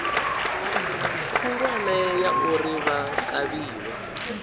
khulwane ya uri vha kavhiwe